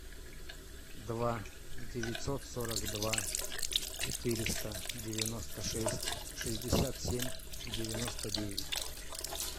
два девятьсот сорок два четыреста девяносто шесть шестьдесят семь девяносто девять